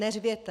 Neřvěte!